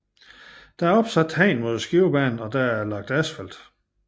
Der er opsat hegn mod Skivebanen og der er lagt asfalt